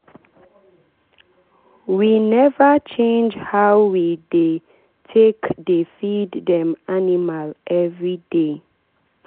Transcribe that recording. we never change how we take dey feed dem animal every day.